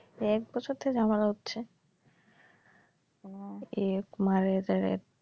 এই এক বছর থেকে ঝামেলা হচ্ছে ও এই এক মারে এদের এক